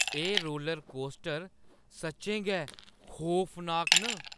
एह् रोलरकोस्टर सच्चैं गै ड खौफनाक न ।